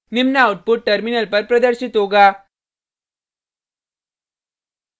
निम्न output terminal पर प्रदर्शित होगा